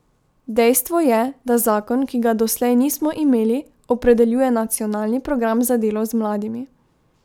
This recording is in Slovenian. Dejstvo je, da zakon, ki ga doslej nismo imeli, opredeljuje nacionalni program za delo z mladimi.